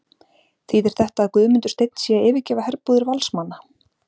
Þýðir þetta að Guðmundur Steinn sé að yfirgefa herbúðir Valsmanna?